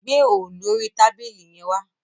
Mú òòlù orí tábìlì yẹn wá